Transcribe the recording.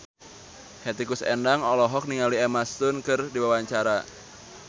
Hetty Koes Endang olohok ningali Emma Stone keur diwawancara